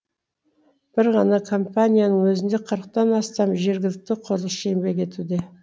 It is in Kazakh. бір ғана компанияның өзінде қырықтан астам жергілікті құрылысшы еңбек етуде